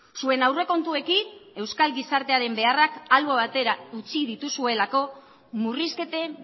zuen aurrekontuekin euskal gizartearen beharrak albo batera utzi dituzuelako murrizketen